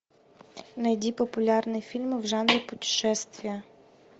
найди популярные фильмы в жанре путешествия